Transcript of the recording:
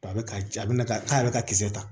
A bɛ ka a bɛna k'a bɛ ka kisɛ ta